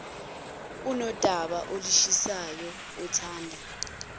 unodaba olushisayo othanda